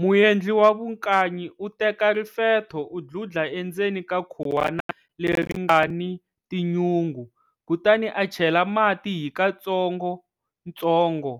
Muendli wa vukanyi u teka rifetho u dludla endzeni ka khuwana leri nga ni tinyungu, kutani a chela mati hi katsongotsongo